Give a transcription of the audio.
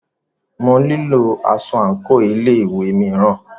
Mo nílo aṣọ àńkò ilé ìwé mìíràn.